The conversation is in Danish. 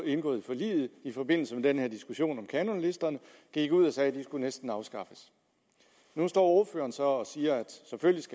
indgået i forliget i forbindelse med den her diskussion om kanonlisterne gik ud og sagde at de næsten skulle afskaffes nu står ordføreren så og siger